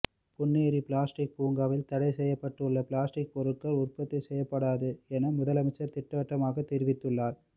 Ponneri plastic பூங்காவில் தடை செய்ய செய்யப்பட்டுள்ள பிளாஸ்டிக் பொருட்கள் உற்பத்தி செய்யப்படாது என முதலமைச்சர் திட்டவட்டமாக தெரிவித்துள்ளார்